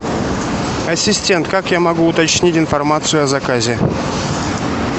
ассистент как я могу уточнить информацию о заказе